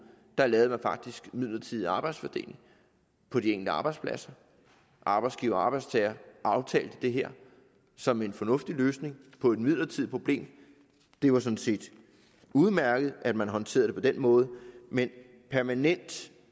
der lavede man faktisk midlertidig arbejdsfordeling på de enkelte arbejdspladser arbejdsgiver og arbejdstager aftalte det her som en fornuftig løsning på et midlertidigt problem det var sådan set udmærket at man håndterede det på den måde men permanent